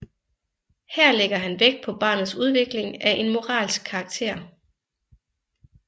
Her lægger han vægt på barnets udvikling af en moralsk karakter